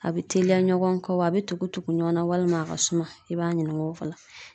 A be teliya ɲɔgɔn kɔ wa a be tugu tugu ɲɔgɔn na walima a ka suma. I b'a ɲininka o